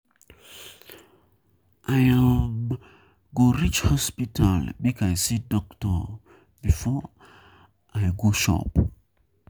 I um go reach hospital make I see doctor um before I go before I go shop.